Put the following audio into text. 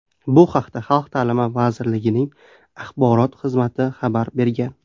Bu haqda Xalq ta’limi vazirligining axborot xizmati xabar bergan .